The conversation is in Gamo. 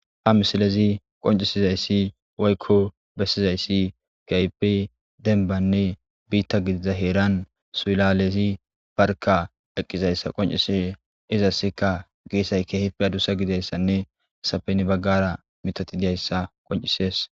Ha misilezi qoncisizaysi woyko bessizaysi kehippe demba heeran suylalezi barka eqidaysa qoncises izasi gesazi addusa gididaysa ne hessappe heni bagara mithay dizaysa beeses.